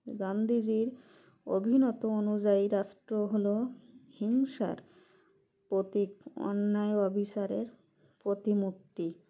গান্ধীজীর অভিমত অনুযায়ী রাষ্ট্র হলো হিংসার প্রতীক অন্যায় অবিচারের প্রতিমূর্তি